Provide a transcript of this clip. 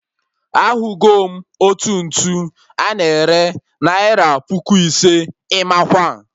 Ahụgo m otu ntu a na-ere naira puku ise, Imakwa!